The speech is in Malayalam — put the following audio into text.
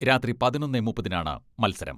രാത്രി പതിനൊന്നെ മുപ്പതിനാണ് മത്സരം.